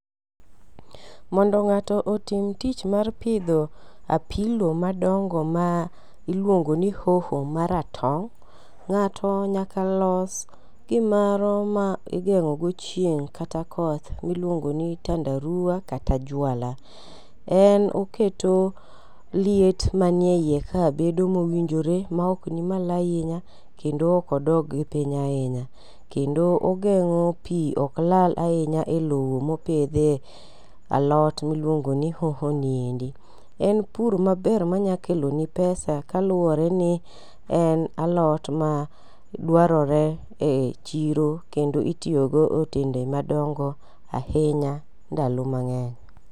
Mondo ng'ato otim tich mar pidho apilo madongo ma iliuongo ni hoho maratong', Ng'ato nyaka los gimoro ma igeng'o go chieng' kata koth miluongo ni tandaruwa kata jwala. En oketo liet manie iye ka bedo mowinjore maok ni malo ahinya kendo ok odog piny ahinya. Kendo ogeng'o pi ok lal ahinya e lowo mopidhie alot miluongo ni hoho ni. En pur maber manyalokeloni pesa kaluwore ni en alot ma dwarore e chiro kendo mitiyogo e otende madongo ahinya e ndalo mang'eny.